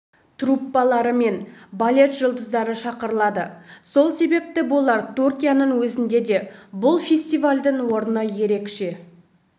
труппалары мен балет жұлдыздары шақырылады сол себепті болар түркияның өзінде де бұл фестивальдің орны ерекше